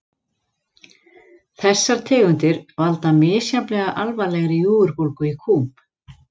Þessar tegundir valda misjafnlega alvarlegri júgurbólgu í kúm.